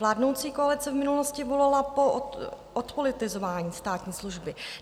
Vládnoucí koalice v minulosti volala po odpolitizování státní služby.